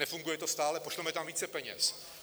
Nefunguje to stále: pošleme tam více peněz.